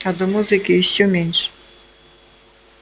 а до музыки ещё меньше